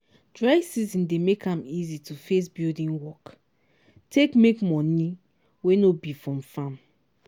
dry season dey make am easy to face building work take make moni wey no be from farm.